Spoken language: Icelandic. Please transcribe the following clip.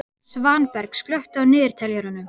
Svanberg, slökktu á niðurteljaranum.